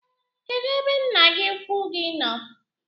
Kedụ ebe nna gi ukwu gi nọ?